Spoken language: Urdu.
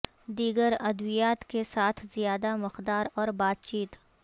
دیگر ادویات کے ساتھ زیادہ مقدار اور بات چیت